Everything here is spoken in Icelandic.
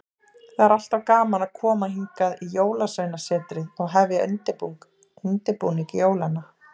Það er alltaf gaman að koma hingað í Jólasveinasetrið og hefja undirbúning jólanna.